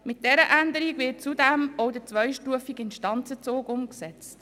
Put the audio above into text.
Mit dieser Änderung wird zudem auch der zweistufige Instanzenzug umgesetzt.